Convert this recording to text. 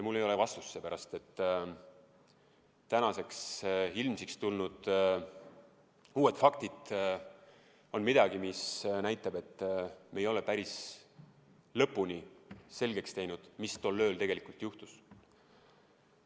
Mul ei ole vastust, seepärast et tänaseks ilmsiks tulnud uued faktid on midagi, mis näitavad, et me ei ole päris lõpuni selgeks teinud, mis tol ööl juhtus.